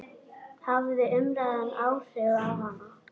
Hafði umræðan áhrif á hana?